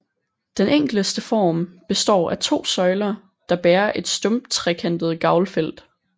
Den enkleste form består af to søjler der bærer et stump trekantet gavlfelt